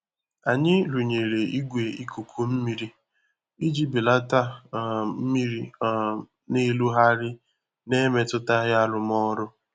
Anyị rụnyere igwe ikuku mmiri iji belata um mmiri um na-erugharị na-emetụtaghị arụmọrụ.